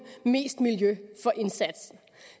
mest miljø for indsatsen